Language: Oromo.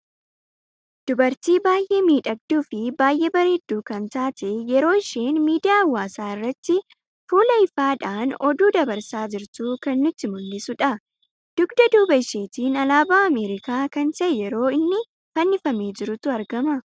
Dubartii baay'ee miidhagduu fi baay'ee bareeddu kan taatee yeroo isheen miidiyaa hawaasa irratti fulaa ifadhan oduu dabarsaa jirtu kan nutti muldhisuudha. dugda duubaa isheetin aalaaaba Amerikaa kan ta'e yeroo inni fannifamee jirutu argama.